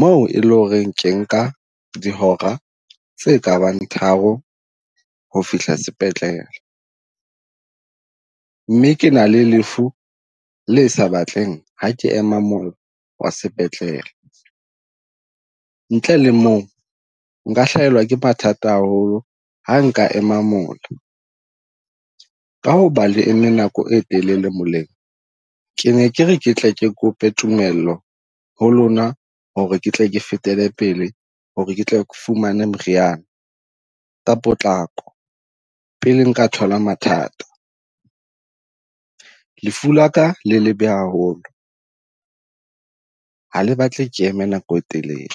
moo e le ho re ke nka dihora tse kabang tharo ho fihla spetlele. Mme ke na le lefu le sa batleng ha ke ema mola wa spetlele, ntle le moo nka hlaelwa ke mathata haholo ha nka ema mola. Ka hoba le eme nako e telele moleng, ke ne ke re ke tle ke kope tumello ho lona, ho re ke tle ke fetele pele ho re ke tle ke fumaneng moriana, la potlako pele nka thola mathata. Lefu la ka le lebe haholo ha le batle eme nako e telele.